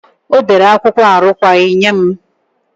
Ọ dere akwụkwọ arụkwaghị nye m.